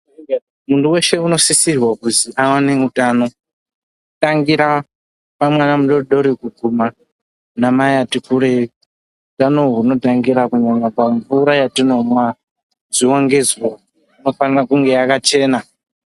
Muntu weshe unosisirwa kuzwi awane utano, kutangira pamwana mudodori kuguma anamai ati kurei. Utano uhwu hunotangira kunyanya pamvura yatinomwa ,zuwa ngezuwa. Inofana kunge yakachena.